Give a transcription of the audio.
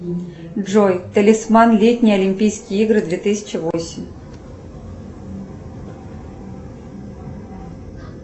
джой талисман летние олимпийские игры две тысячи восемь